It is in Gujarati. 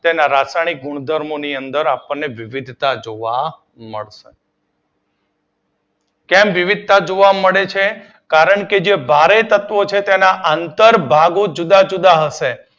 તેના રાસાયણિક ગુણધર્મો ની અંદર આપણને વિવિધતા જોવા મળશે. કેમ વિવિધતા જોવા મળે છે? કારણ કે જે ભારે તત્વો છે તેના અંતર ભાગો જુદા જુદા છે